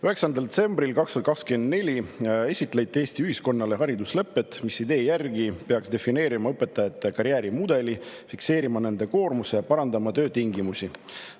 9. detsembril 2024 esitleti Eesti ühiskonnale hariduslepet, mis idee järgi peaks defineerima õpetajate karjäärimudeli, fikseerima nende koormuse ja parandama töötingimusi.